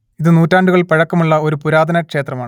ഇതു നൂറ്റാണ്ടുകൾ പഴക്കം ഉള്ള ഒരു പുരാതന ക്ഷേത്രമാണ്